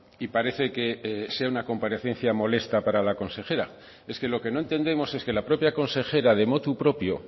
y parece que sea una comparecencia molesta para la consejera es que lo que no entendemos es que la propia consejera de motu propio